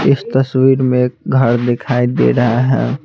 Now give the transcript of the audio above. इस तस्वीर में एक घर दिखाई दे रहा है।